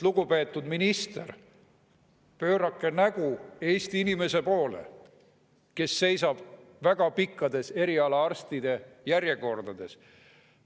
Lugupeetud minister, pöörake nägu Eesti inimeste poole, kes seisavad väga pikkades eriarstijärjekordades!